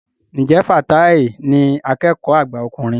Ǹjẹ́ Fatai ní akẹ́kọ̀ọ́ àgbà ọkùnrin?